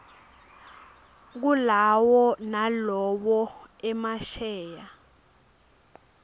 kulawo nalowo emasheya